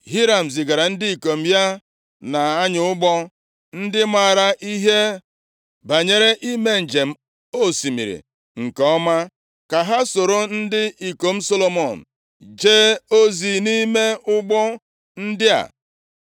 Hiram zigaara ndị ikom ya na-anya ụgbọ, ndị maara ihe banyere ime njem osimiri nke ọma, ka ha soro ndị ikom Solomọn jee ozi nʼime ụgbọ ndị a.